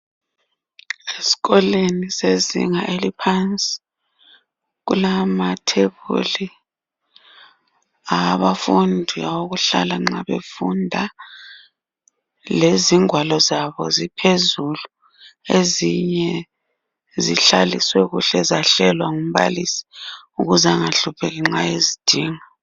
Esikolweni sezinga eliphansi kulamathebuli awabafundi awokuhlala nxa befunda lezingwalo zabo ziphezulu ezinye zihlaliswe kuhle zahlelwa ngumbalisi ukuze angahlupheki nxa ezidinga.